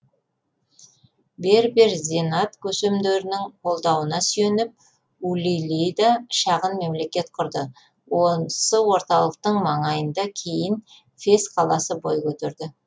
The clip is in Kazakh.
бербер зенат көсемдерінің қолдауына сүйеніп улилида шағын мемлекет құрды осы орталықтың маңында кейін фес қаласы бой көтерді